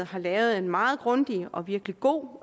har lavet en meget grundig og virkelig god